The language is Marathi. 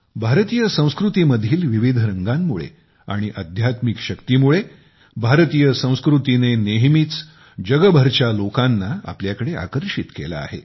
भारतीय संस्कृतीमधील विविध रंगांमुळे आणि अध्यात्मिक शक्तीमुळे भारतीय संस्कृतीने नेहमीच जगभरच्या लोकांना आपल्याकडे आकर्षित केले आहे